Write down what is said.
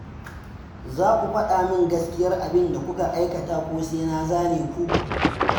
Za ku faɗa min gaskiyar abinda kuka aikata ko sai na zane ku.